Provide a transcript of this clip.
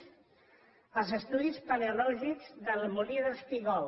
el d’estudis paleològics del molí d’espígol